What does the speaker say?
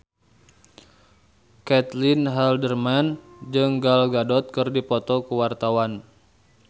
Caitlin Halderman jeung Gal Gadot keur dipoto ku wartawan